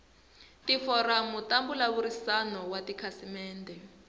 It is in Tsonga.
tiforamu ta mbulavurisano wa tikhasimende